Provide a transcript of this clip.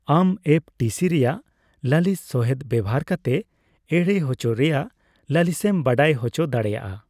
ᱟᱢ ᱮᱯᱹ ᱴᱤᱹ ᱥᱤ ᱨᱮᱭᱟᱜ ᱞᱟᱹᱞᱤᱥ ᱥᱚᱦᱮᱫ ᱵᱮᱣᱦᱟᱨ ᱠᱟᱛᱮ ᱮᱲᱮ ᱦᱚᱪᱚ ᱨᱮᱭᱟᱜ ᱞᱟᱹᱞᱤᱥᱮᱢ ᱵᱟᱰᱟᱭ ᱦᱚᱪᱚ ᱫᱟᱲᱮᱭᱟᱜᱼᱟ ᱾